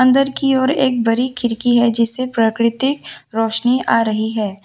अंदर की ओर एक बड़ी खिड़की है जिससे प्राकृतिक रोशनी आ रही है।